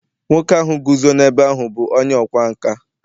nwoke ahụ guzo n’ebe ahụ bụ onye ọkwá nkà